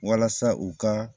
Walasa u ka